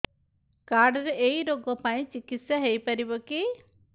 card ରେ ଏଇ ରୋଗ ପାଇଁ ଚିକିତ୍ସା ହେଇପାରିବ କି